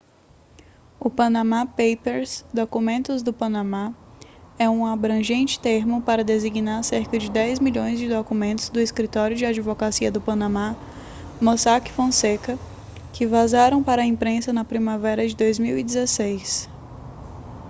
o panama papers documentos do panamá é um abrangente termo para designar cerca de dez milhões de documentos do escritório de advocacia do panamá mossack fonseca que vazaram para a imprensa na primavera de 2016